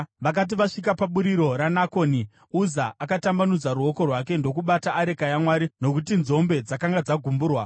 Vakati vasvika paburiro raNakoni, Uza akatambanudza ruoko rwake ndokubata areka yaMwari, nokuti nzombe dzakanga dzagumburwa.